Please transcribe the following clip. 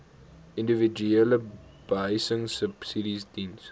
individuele behuisingsubsidies diens